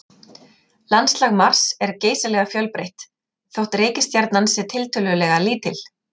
Landslag Mars er geysilega fjölbreytt þótt reikistjarnan sé tiltölulega lítil.